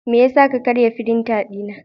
Me yasa ka karya firinta dina?